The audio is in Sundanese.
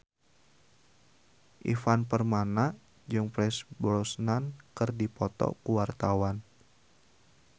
Ivan Permana jeung Pierce Brosnan keur dipoto ku wartawan